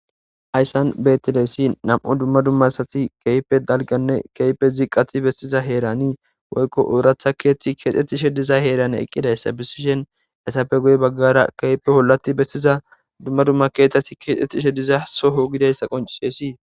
ayssan betileessi nam7u dumma dumma sati keype dalganne keype ziqati bestiza heeranii woykko ooratha keethti keexxettishe diza heerane eqqidayssa bisishen esappe guye baggara keehipe hollati bestiza dumma dumma keetasi keexettishe diza soho gidayssa qoncisesi